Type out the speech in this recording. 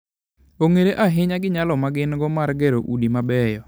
Ong'ere ahinya gi nyalo ma gin-go mar gero udi mabeyo.